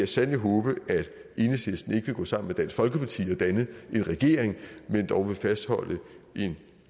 sandelig håbe at enhedslisten ikke vil gå sammen med dansk folkeparti og danne en regering men dog vil fastholde en